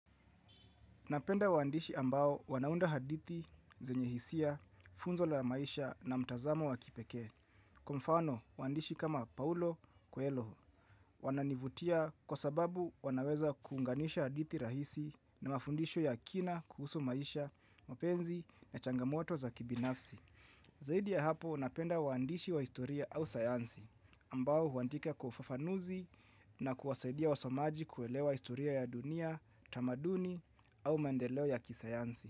Napenda waandishi ambao wanaunda hadithi, zenye hisia, funzo la maisha na mtazamo wa kipekee. Kwa mfano, waandishi kama Paulo coelho. Wananivutia kwa sababu wanaweza kuunganisha hadithi rahisi na mafundisho ya kina kuhusu maisha, mapenzi na changamoto za kibinafsi. Zaidi ya hapo napenda waandishi wa historia au sayansi ambao huandika kwa ufufanuzi na kuwasaidia wasomaji kuelewa historia ya dunia, tamaduni au maendeleo ya kisayansi.